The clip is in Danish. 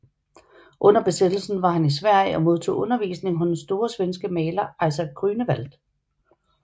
Under besættelsen var han i Sverige og modtog undervisning hos den store svenske maler Isaac Grünewald